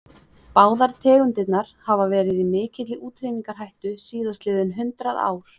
Báðar tegundirnar hafa verið í mikilli útrýmingarhættu síðastliðin hundrað ár.